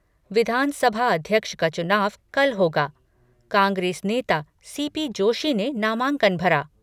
विधानसभा अध्यक्ष का चुनाव कल होगा, कांग्रेस नेता सी पी जोशी ने नामांकन भरा